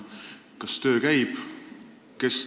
Kas töö käib?